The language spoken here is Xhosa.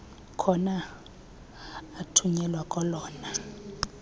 khona athunyelwe kolona